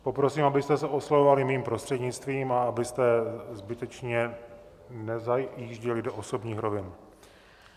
Poprosím, abyste se oslovovali mým prostřednictvím a abyste zbytečně nezajížděli do osobních rovin.